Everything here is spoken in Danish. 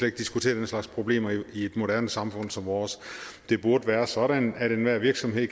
ikke diskutere den slags problemer i et moderne samfund som vores det burde være sådan at enhver virksomhed